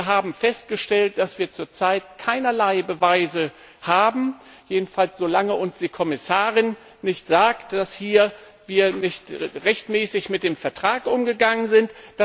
Wir haben festgestellt, dass wir zurzeit keinerlei Beweise haben, jedenfalls solange uns die Kommissarin nicht sagt, dass wir hier nicht rechtmäßig mit dem Vertrag umgegangen sind.